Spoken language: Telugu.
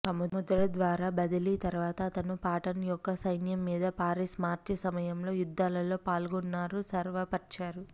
సముద్ర ద్వారా బదిలీ తర్వాత అతను పాటన్ యొక్క సైన్యం మీద పారిస్ మార్చి సమయంలో యుద్ధాల్లో పాల్గొన్నారు స్వరపరిచారు